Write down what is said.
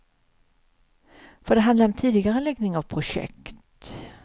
För det handlar om tidigareläggning av projekt.